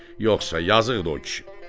Yoxsa yazıqdır o kişi.